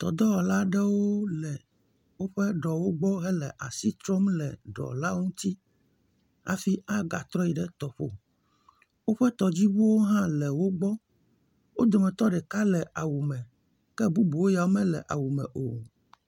Tɔdɔwɔla aɖewo le woƒe ɖewo gbɔ hele asi trɔm le ɖɔla ŋuti hafi agatrɔ yi ɖe tɔƒo. Woƒe tɔdziŋuwo hã le wogbɔ. Wo dometɔ ɖeka le awume, ke bubuwo ya womele awume o.